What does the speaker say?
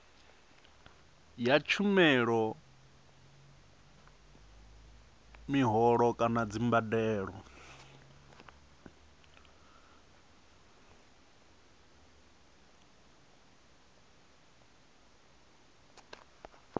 ya tshumelo mihoho kana dzimbadelo